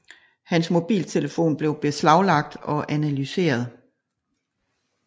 Hans mobiltelefon blev beslaglagt og analyseret